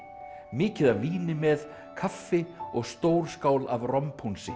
mikið af víni með kaffi og stór skál af